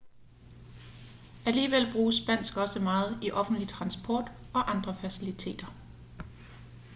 alligevel bruges spansk også meget i offentlig transport og andre faciliteter